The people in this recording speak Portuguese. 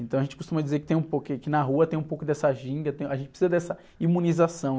Então a gente costuma dizer que tem um pouco que, que na rua tem um pouco dessa ginga, tem um... A gente precisa dessa imunização.